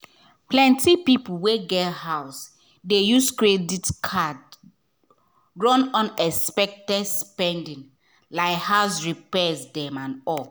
plenty people wey get house dey use credit card run unexpected spending like house repairs and all.